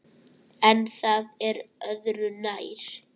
En það er öðru nær.